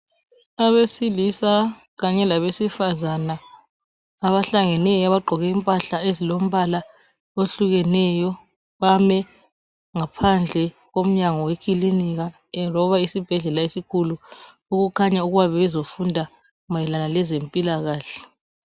Abesilisa kanye labesifazana, abahlangeneyo abagqoke impahla ezilembala ehlukeneyo, bame ngaphandle komyango wekilinika loba esibhedlela esikhulu, okukhanya ukuba bebezofunda mayelana lezempilakahle.